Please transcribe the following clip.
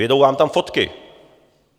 Vyjedou vám tam fotky.